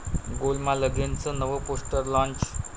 गोलमाल अगेन'चं नवं poster launch